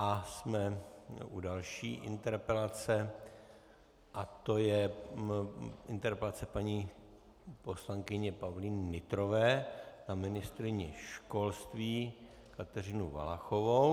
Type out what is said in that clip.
A jsme u další interpelace a to je interpelace paní poslankyně Pavlíny Nytrové na ministryni školství Kateřinu Valachovou.